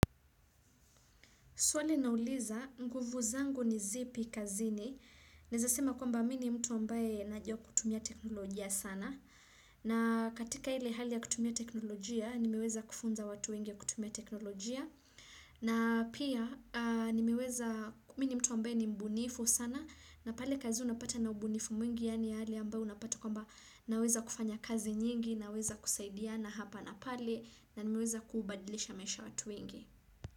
Swale nauliza, nguvu zangu ni zipi kazini. Nezasema kwamba mini mtu ambaye najua kutumia teknolojia sana. Na katika ile hali ya kutumia teknolojia, nimeweza kufunza watu wengi ya kutumia teknolojia. Na pia, nimeweza mini mtu ambaye ni mbunifu sana. Na pale kazi unapata na ubunifu mwingi, yani hali ambaye unapata kwamba naweza kufanya kazi nyingi, naweza kusaidia na hapa na pale. Na nimeweza kubadilisha maisha ya watu wengi.